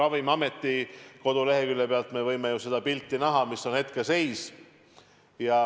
Ravimiameti kodulehekülje pealt me võime ju näha seda pilti, mis on hetkeseis.